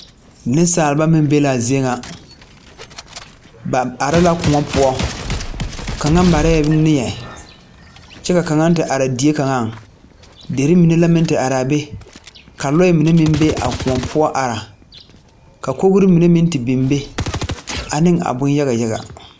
Nensaaleba meŋ be la a zie ŋa ba are la kõɔ poɔ kaŋa mare la neɛ kyɛ ka kaŋa te are die kaŋaŋ dere mine meŋ la te are a be ka loɛ mine meŋ be a kõɔ poɔ are ka kogri mine meŋ te ane a boŋ yaga yaga.